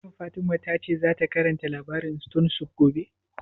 Shin Fatima ta ce za ta karanta labarin stone soup gobe?